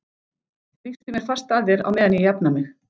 Þrýstu mér fast að þér á meðan ég jafna mig.